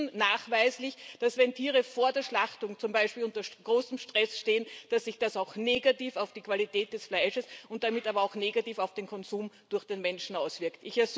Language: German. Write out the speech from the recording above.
Denn wir wissen nachweislich, dass, wenn Tiere vor der Schlachtung zum Beispiel unter großem Stress stehen, sich das auch negativ auf die Qualität des Fleisches und damit aber auch negativ auf den Konsum durch den Menschen auswirkt.